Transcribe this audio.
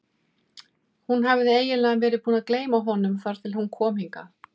Hún hafði eiginlega verið búin að gleyma honum þar til hún kom hingað.